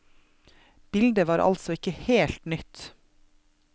Bildet var altså ikke helt nytt.